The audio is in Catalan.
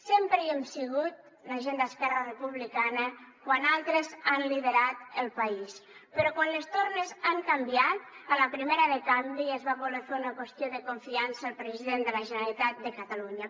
sempre hi hem sigut la gent d’esquerra republicana quan altres han liderat el país però quan les tornes han canviat a la primera de canvi es va voler fer una qüestió de confiança al president de la generalitat de catalunya